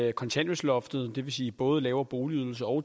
at kontanthjælpsloftet det vil sige både lavere boligydelse og